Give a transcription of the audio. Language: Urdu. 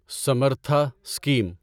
سمرتھا اسکیم